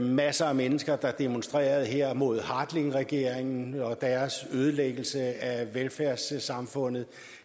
masser af mennesker der demonstrerede her mod hartlingregeringen og deres ødelæggelse af velfærdssamfundet